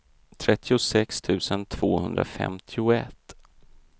trettiosex tusen tvåhundrafemtioett